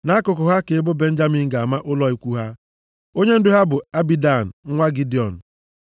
Nʼakụkụ ha ka ebo Benjamin ga-ama ụlọ ikwu ha. Onyendu ha bụ Abidan nwa Gidiọn.